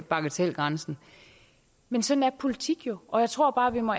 bagatelgrænsen men sådan er politik jo og jeg tror bare vi må